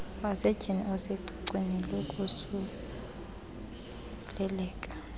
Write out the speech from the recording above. wasetyhini usecicini lokosuleleka